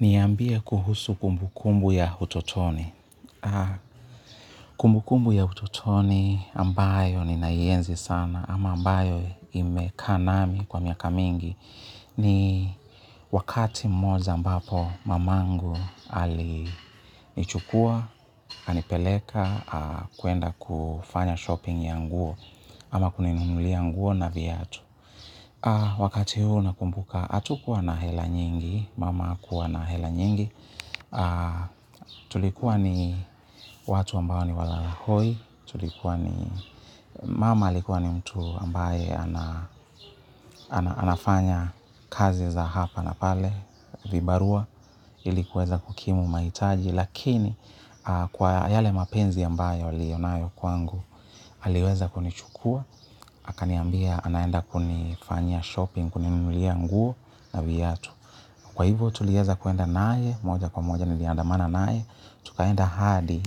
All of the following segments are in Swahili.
Niambia kuhusu kumbu kumbu ya utotoni. Kumbu kumbu ya utotoni ambayo ninaienzi sana ama ambayo imekaa nami kwa miaka mingi ni wakati moja ambapo mamangu alinichukua, akanipeleka, kwenda kufanya shopping ya nguo ama kuninunulia nguo na viatu. Wakati huu nakumbuka atukuwa na hela nyingi mama kuwa na hela nyingi tulikuwa ni watu ambao ni wala hoi tulikuwa ni mama alikuwa ni mtu ambaye anafanya kazi za hapa na pale vibarua ilikuweza kukimu mahitaji lakini kwa yale mapenzi ambayo aliyonayo kwangu aliweza kunichukua akaniambia anaenda kunifanyia shopping, kuninunulia nguo na viatu. Kwa hivyo tulieza kuenda naye, moja kwa moja niliandamana naye. Tukaenda hadi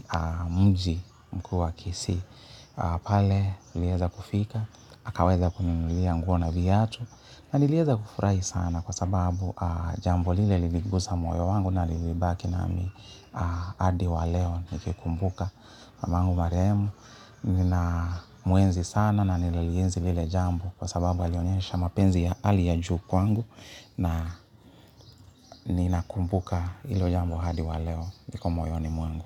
mji mkuu wa kisii. Pale alieza kufika, akaweza kuninunulia nguo na viatu. Na nilieza kufurahi sana kwa sababu jambo lile liligusa moyo wangu. Na lilibaki na mi hadi wa leo nikikumbuka mangu marehemu, nina muenzi sana na nililienzi lile jambo kwa sababu alionyesha mapenzi ya hali ya juu kwangu na nina kumbuka ilo jambu hadi waleo liko moyoni mwangu.